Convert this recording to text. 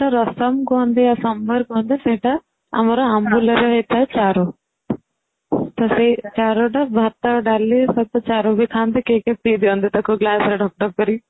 ରସମ କୁହନ୍ତି ଆଉ ସମ୍ବର କୁହନ୍ତି ସେଇଟା ଆମର ଆମ୍ବୁଲ ରେ ହେଇ ଥାଏ ଚାରୁ ତ ସେଇ ଚାରୁଟା ଭାତ ଡାଲି ସହ ଚାରୁ ବି ଖାଆନ୍ତି କେହି କେହି ପି ଦିଅନ୍ତି ତାକୁ glass ରେ ଢକ ଢକ କରି କି